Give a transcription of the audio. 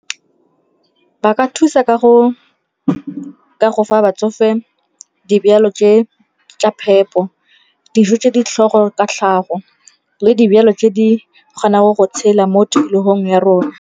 Ba ka thusa ka go fa batsofe dijalo tse tsa phepo, dijo tse ditlhogo ka tlhago le dijalo tse di kgonang go tshela mo tikologong ya rona.